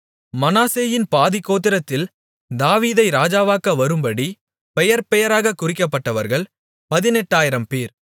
மனாசேயின் பாதிக்கோத்திரத்தில் தாவீதை ராஜாவாக்க வரும்படி பெயர்பெயராகக் குறிக்கப்பட்டவர்கள் பதினெட்டாயிரம்பேர்